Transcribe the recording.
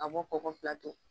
An b'o bɔ ko fila kɛ.